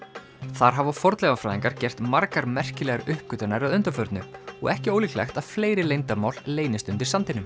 þar hafa fornleifafræðingar gert margar merkilegar uppgötvanir að undanförnu og ekki ólíklegt að fleiri leyndarmál leynist undir sandinum